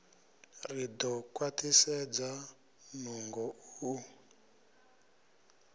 ri ḓo khwaṱhisedza nungo u